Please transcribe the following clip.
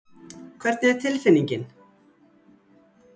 Hvernig er tilfinningin?